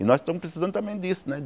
E nós estamos precisando também disso, né?